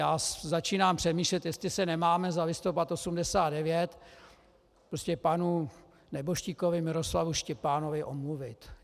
Já začínám přemýšlet, jestli se nemáme za listopad 1989 prostě panu nebožtíkovi Miroslavu Štěpánovi omluvit.